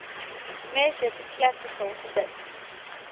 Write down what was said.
measured classical bits